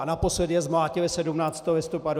A naposledy je zmlátili 17. listopadu.